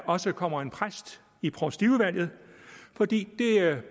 også kommer en præst i provstiudvalget fordi